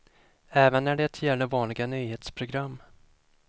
Även när det gäller vanliga nyhetsprogram.